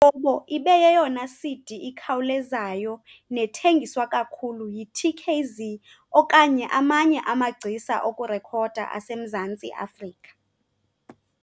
bobo" ibe yeyona CD ikhawulezayo nethengiswa kakhulu yi-TKZee okanye amanye amagcisa okurekhoda aseMzantsi Afrika.